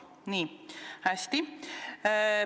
Nii, hästi.